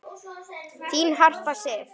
Þín Harpa Sif.